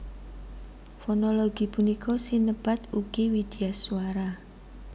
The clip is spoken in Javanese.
Fonologi punika sinebat ugi widyaswara